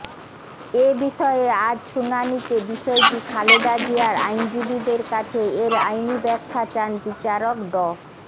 এ বিষয়ে আজ শুনানিতে বিষয়টি খালেদা জিয়ার আইনজীবীদের কাছে এর আইনি ব্যাখ্যা চান বিচারক ড